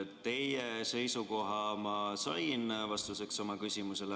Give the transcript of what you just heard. Teie seisukoha ma sain vastuseks oma küsimusele.